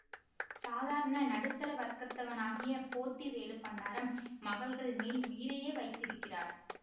சாதாரண நடுத்தர வர்கத்தவனாகிய போத்திவேலு பண்டாரம் மகள்கள் மேல் உயிரையே வைத்திருக்கிறார்